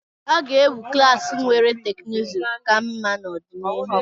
A ga-ewu klaasị nwere teknụzụ ka mma n'ọdịnihu.